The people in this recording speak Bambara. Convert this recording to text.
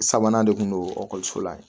Sabanan de kun don ekɔliso la yen